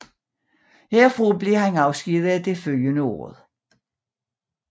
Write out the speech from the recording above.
Herfra afskedigedes han det følgende år